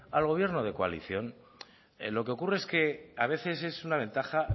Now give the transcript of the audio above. al gobierno de coalición lo que ocurre es que a veces es una ventaja